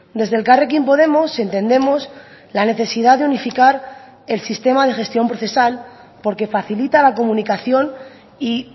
desde elkarrekin podemos entendemos la necesidad de unificar el sistema de gestión procesal porque facilita la comunicación y